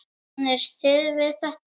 Kannist þið við þetta?